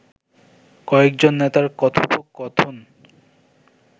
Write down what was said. কয়েকজন নেতার কথোপকথন